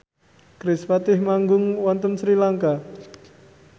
kerispatih manggung wonten Sri Lanka